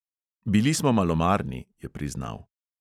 "Bili smo malomarni," je priznal.